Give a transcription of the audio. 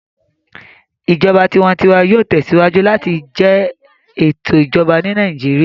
Ìjọba tiwantiwa yóò tẹsíwájú láti jẹ ètò Ìjọba ní Nàìjíríà